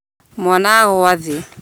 Mwana nĩ agũa thĩ